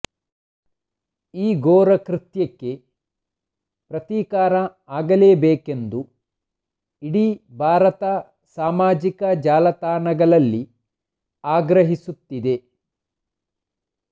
ಈ ಘೋರ ಕೃತ್ಯಕ್ಕೆ ಪ್ರತೀಕಾರ ಆಗಲೇಬೇಕೆಂದು ಇಡೀ ಭಾರತ ಸಮಾಜಿಕ ಜಾಲತಾಣಗಳಲ್ಲಿ ಆಗ್ರಹಿಸುತ್ತಿದೆ